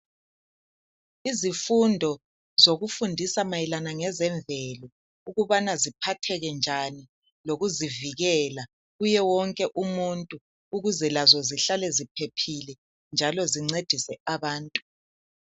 Izifundo zokufundisa mayelana ngezemvelo, ukubana ziphatheke njani. Kanye lokuzivikela, kuye wonke umuntu . Ukuze lazo zihlale ziphephile. Zincedise abantu. Kuye wonke umuntu.